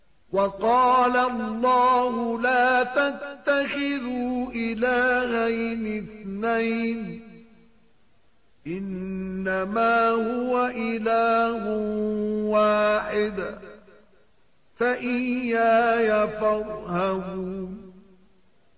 ۞ وَقَالَ اللَّهُ لَا تَتَّخِذُوا إِلَٰهَيْنِ اثْنَيْنِ ۖ إِنَّمَا هُوَ إِلَٰهٌ وَاحِدٌ ۖ فَإِيَّايَ فَارْهَبُونِ